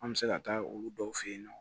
An bɛ se ka taa olu dɔw fe yen nɔ